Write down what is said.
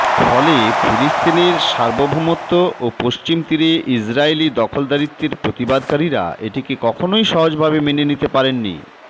ফলে ফিলিস্তিনের সার্বভৌমত্ব ও পশ্চিম তীরে ইসরায়েলি দখলদারীত্বের প্রতিবাদকারীরা এটিকে কখনই সহজভাবে মেনে নিতে পারেননি